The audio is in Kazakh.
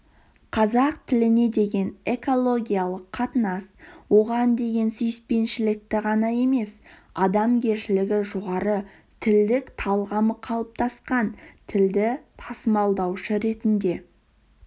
қазақ тіліне деген экологиялық қатынас оған деген сүйіспеншілікті ғана емес адамгершілігі жоғары тілдік талғамы қалыптасқан тілді тасымалдаушы ретінде